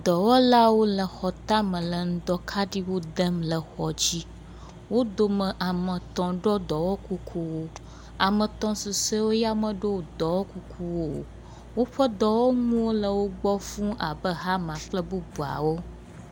Dɔwɔlawo le xɔ tame le ŋdɔkaɖiwo dem le xɔwo dzi. Wo dome ame etɔ̃ ɖo dɔwɔkukuwo, ame etɔ̃ susɔewo womeɖo dɔwɔkuku o. Woƒe dɔwɔnuwo le wo gbɔ fũu abe hama, kple bubuawo.